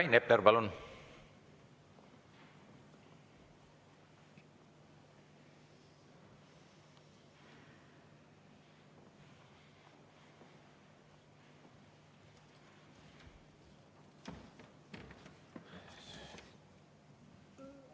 Rain Epler, palun!